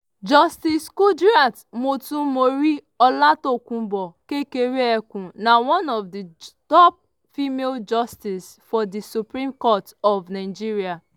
justice kudirat motonmori olatokunbo kekere-ekun na one of di top female justices for di supreme court of nigeria.